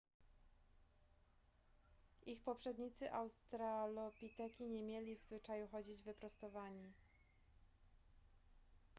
ich poprzednicy australopiteki nie mieli w zwyczaju chodzić wyprostowani